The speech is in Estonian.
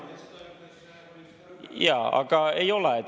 Jaa, aga ei ole.